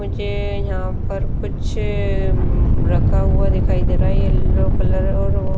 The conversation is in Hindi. मुझे यहां पर कुछ उम्म रखा हुआ दिखाई दे रहा है येलो कलर और वो।